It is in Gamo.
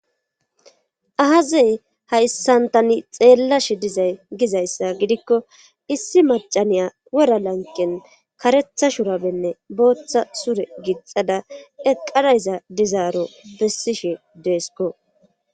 ahazey hayssantani xeellashe dizay gizayssa gidikko issi macaniya wora lanken karetha shurabenne booththa sure gixada eqqadayza dizaaro bessishe deesko